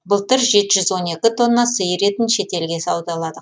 былтыр жеті жүз он екі тонна сиыр етін шетелге саудаладық